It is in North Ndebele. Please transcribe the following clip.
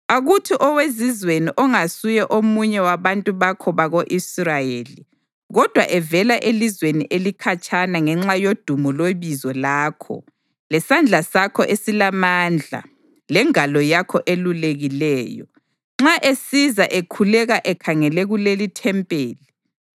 Akuthi owezizweni ongasuye omunye wabantu bakho bako-Israyeli kodwa evela elizweni elikhatshana ngenxa yodumo lwebizo lakho lesandla sakho esilamandla lengalo yakho elulekileyo, nxa esiza ekhuleka ekhangele kulelithempeli,